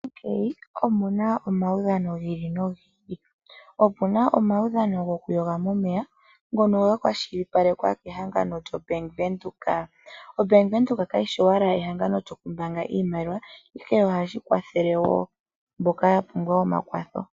Omuna omaudhano gi ili nogi ili opuna omaudhano goku yoga momeya ngono ga kwashilipalekwa kehangano lyo Bank Windhoek, oBank Windhoek ka yi shi owala ehangano lyokumbaanga iimaliwa, ihe oha shi kwathele wo mboka yapumbwa omakwatho.